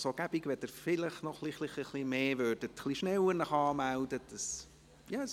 Es wäre gut, wenn Sie sich etwas rascher anmelden könnten.